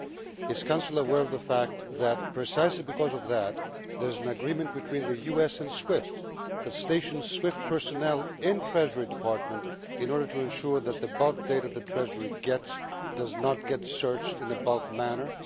Is the Council aware of the fact that, precisely because of that, there is an agreement between the US and SWIFT that stations SWIFT personnel in the Treasury Department in order to ensure that the bulk data the Treasury gets does not get searched in a bulk manner?